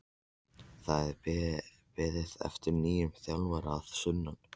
Það er beðið eftir nýjum þjálfara að sunnan.